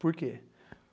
Por quê?